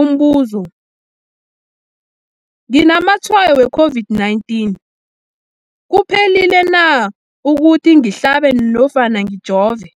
Umbuzo, nginamatshayo we-COVID-19, kuphephile na ukuthi ngihlabe nofana ngijove?